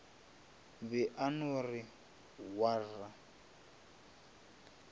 be a no re waar